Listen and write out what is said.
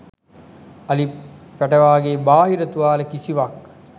අලි පැටවාගේ බාහිර තුවාල කිසිවක්